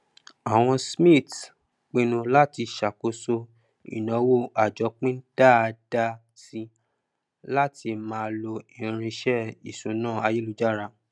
àwọn smiths pínnú láti ṣàkóso ìnáwó àjọpín dáadá sí látí máa ló irinṣẹ ìṣúná ayélujára